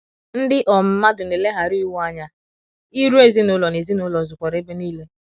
Ndị um mmadụ na eleghara iwu anya, iro ezinụlọ na ezinụlọ zukwara ebe nile.